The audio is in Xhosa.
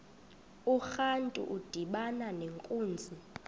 urantu udibana nenkunzi